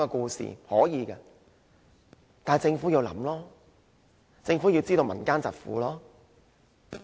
這是可以的，但政府要思考，要知道民間疾苦。